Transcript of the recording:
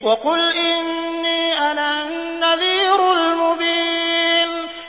وَقُلْ إِنِّي أَنَا النَّذِيرُ الْمُبِينُ